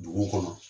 Dugu kɔnɔ